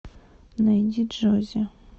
найди джоззи